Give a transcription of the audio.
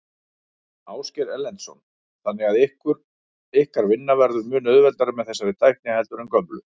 Ásgeir Erlendsson: Þannig að ykkar vinna verður mun auðveldari með þessari tækni heldur en gömlu?